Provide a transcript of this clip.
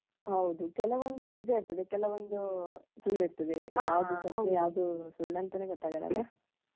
ಹೌದು ಕೆಲವೊಂದು ನಿಜ ಇರ್ತದೆ ಕೆಲವೊಂದು ಸುಳ್ಳು ಇರ್ತದೆ ಯಾವುದು ಸತ್ಯ ಯಾವುದು ಸುಳ್ಳಂತನೇ ಗೊತ್ತಾಗಲ್ಲ ಅಲಾ.